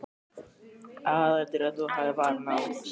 Aðalatriðið er að þú hafir varann á.